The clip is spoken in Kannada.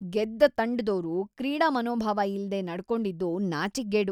ಗೆದ್ದ ತಂಡದೋರು ಕ್ರೀಡಾ ಮನೋಭಾವ ಇಲ್ದೇ ನಡ್ಕೊಂಡಿದ್ದು ನಾಚಿಕ್ಗೇಡು.